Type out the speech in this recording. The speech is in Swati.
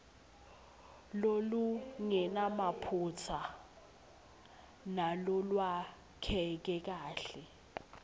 lolungenamaphutsa nalolwakheke kahle